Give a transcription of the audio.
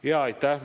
Aitäh!